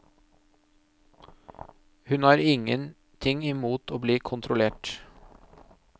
Hun har ingenting i mot å bli kontrollert.